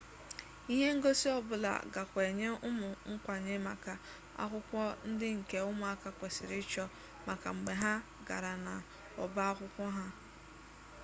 ihe ngosi ọbụla gakwa enye ụmụ nkwanye maka akwụkwọ ndị nke ụmụaka kwesịrị ịchọ maka mgbe ha gara n'ọbaakwụkwọ ha